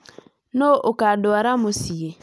Nũ ũkũndwara mũciĩ?